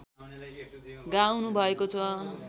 गाउनुभएको छ